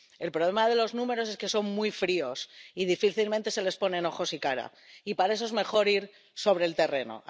El problema de los números es que son muy fríos y difícilmente se les ponen ojos y cara, y, para eso, es mejor ir sobre el terreno.